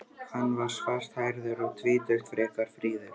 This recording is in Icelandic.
Hann var svarthærður, um tvítugt, frekar fríður.